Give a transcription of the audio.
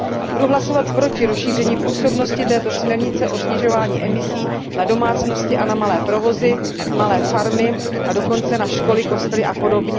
Budu hlasovat proti rozšíření působnosti této směrnice o snižování emisí na domácnosti a na malé provozy, malé farmy, a dokonce na školy, kostely apod.